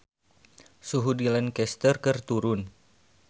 Suhu di Lancaster keur turun